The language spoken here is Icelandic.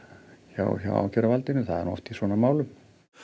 hjá hjá ákæruvaldinu það er oft í svona málum